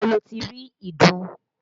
Ibo lo ti rí ìdun?